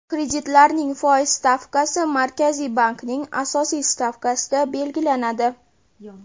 Kreditlarning foiz stavkasi Markaziy bankning asosiy stavkasida belgilanadi.